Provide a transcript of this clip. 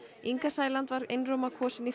Inga Sæland var einróma kosin í